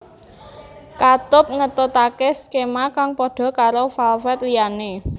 Katup ngetutake skema kang padha karo valved liyane